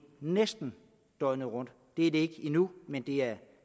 næsten døgnet rundt det er det ikke endnu men det er